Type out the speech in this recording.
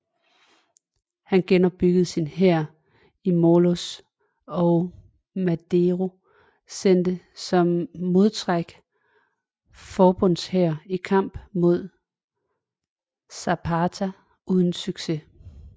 Han genopbyggede sin hær i Morelos og Madero sendte som modtræk forbundshæren i kamp mod Zapata uden succes